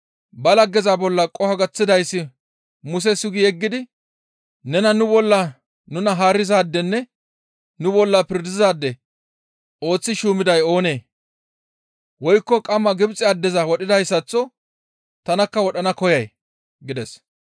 «Ba laggeza bolla qoho gaththidayssi Muse sugi yeggidi, ‹Nena nu bolla nuna haarizaadenne nu bolla pirdizaade ooththi shuumiday oonee? Woykko qamma Gibxe addeza wodhoyssaththo tanakka wodhana koyay?› gides.